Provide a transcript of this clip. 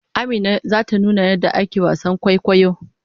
Amina zata nuna yadda ake wasan kwaikwayo